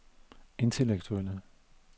intellektuelle